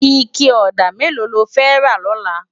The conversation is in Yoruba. Iké òdá méló ló fè rá lòlá?